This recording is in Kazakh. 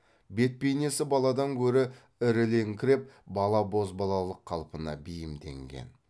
бет бейнесі баладан гөрі ірілеңкіреп бала бозбалалық қалпына бейімденген